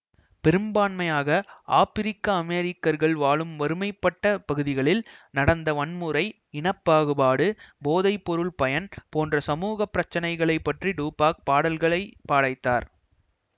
பெரும்பான்மையாக ஆப்ரிக்க அமெரிக்கர்கள் வாழும் வறுமைப்பட்ட பகுதிகளில் நடந்த வன்முறை இன பாகுபாடு போதை பொருள் பயன் போன்ற சமூக பிரச்சனைகளை பற்றி டூப்பாக் பாடல்களை பாடைத்தார்